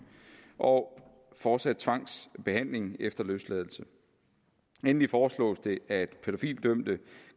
og fortsat tvangsbehandling efter løsladelse endelig foreslås det at pædofilidømte